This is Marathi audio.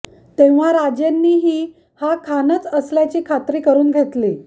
तेंव्हा राजेंनी हि हा खानच असल्याची खात्री करून घेतली